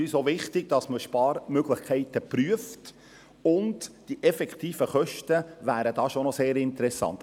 Es ist uns wichtig, dass Sparmöglichkeiten geprüft werden, und die effektiven Kosten wären schon sehr interessant.